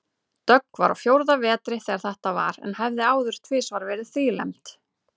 Dögg var á fjórða vetri þegar þetta var en hafði áður tvisvar verið þrílembd.